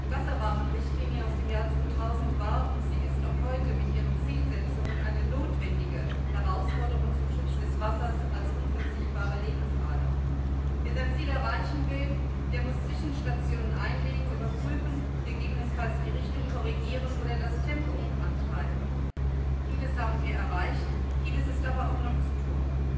Frau Präsidentin, Herr Kommissar, meine Damen und Herren! Die Wasser Rahmenrichtlinie aus dem Jahr 2000 war und sie ist auch heute mit ihren Zielsetzungen eine notwendige Herausforderung zum Schutz des Wassers als unverzichtbare Lebensader. Wer sein Ziel erreichen will, der muss Zwischenstationen einlegen, überprüfen, gegebenenfalls die Richtung korrigieren oder das Tempo antreiben. Vieles haben wir erreicht, vieles ist aber auch noch zu tun.